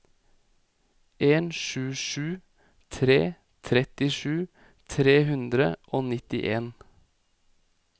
en sju sju tre trettisju tre hundre og nittien